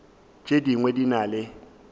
tše dingwe di na le